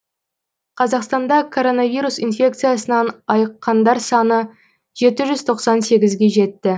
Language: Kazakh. қазақстанда коронавирус инфекциясынан айыққандар саны жеті жүз тоқсан сегізге жетті